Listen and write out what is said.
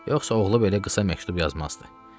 Yoxsa oğlu belə qısa məktub yazmazdı.